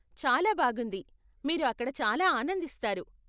చాలా బాగుంది, మీరు అక్కడ చాలా ఆనందిస్తారు.